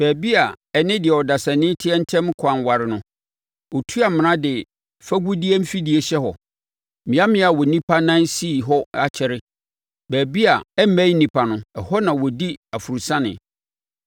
Baabi a ɛne deɛ ɔdasani teɛ ntam ɛkwan ware no, ɔtu amena de fagudeɛtuo afidie hyɛ hɔ, mmeammea a onipa nan sii hɔ akyɛre baabi a ɛmmɛn nnipa no, ɛhɔ na ɔdi aforosiane.